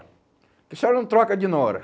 Porque a senhora não troca de Nora?